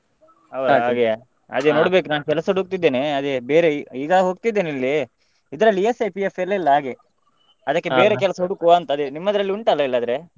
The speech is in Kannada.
ಹೌದಾ ಹಾಗೆಯ ಅದೇ ನೋಡ್ಬೇಕು ನಾ ಕೆಲಸ ಹುಡುಕ್ತಿದ್ದೇನೆ ಅದೇ ಬೇರೆ, ಈಗ ಹೋಗ್ತಿದ್ದೇನೆ ಇಲ್ಲಿ. ಇದ್ರಲ್ಲಿ ESI, PF ಎಲ್ಲ ಇಲ್ಲ ಹಾಗೆ ಬೇರೆ ಕೆಲ್ಸ ಹುಡುಕ್ವಾ ಅಂತ ಅದೇ ನಿಮ್ಮದ್ರಲ್ಲಿ ಉಂಟಲ್ಲ ಇಲ್ಲದ್ರೆ.